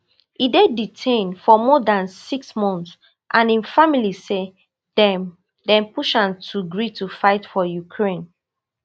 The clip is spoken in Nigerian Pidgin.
e dey detained for more than six months and im family say dem dem push am to gree to fight for ukraine